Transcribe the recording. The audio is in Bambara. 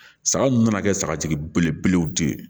Saga mun nana kɛ sagatigi belebelew de ye